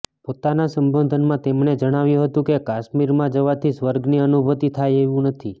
પોતાના સંબોધનમાં તેમણે જણાવ્યું હતું કે કાશ્મીરમાં જવાથી સ્વર્ગની અનુભૂતિ થાય એવું નથી